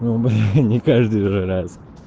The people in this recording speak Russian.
ну бля не каждый же раз